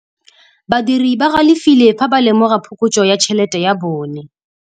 Badiri ba galefile fa ba lemoga phokotsô ya tšhelête ya bone.